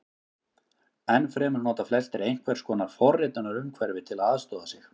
Enn fremur nota flestir einhvers konar forritunarumhverfi til að aðstoða sig.